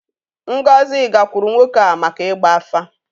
Ngozi gakwuuru nwoke a maka ịgba afa.